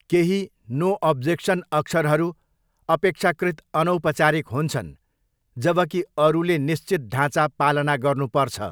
केही no objection अक्षरहरू अपेक्षाकृत अनौपचारिक हुन्छन्, जबकि अरूले निश्चित ढाँचा पालना गर्नुपर्छ।